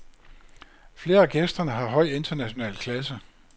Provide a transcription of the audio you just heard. Flere af gæsterne har høj international klasse.